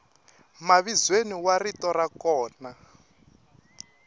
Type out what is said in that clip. mavizweni wa rito ra kona